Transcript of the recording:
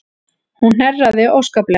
Hún hnerraði óskaplega.